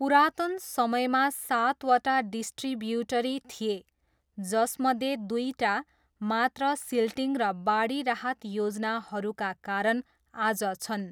पुरातन समयमा सातवटा डिस्ट्रिब्युटरी थिए, जसमध्ये दुइटा मात्र सिल्टिङ र बाढी राहत योजनाहरूका कारण आज छन्।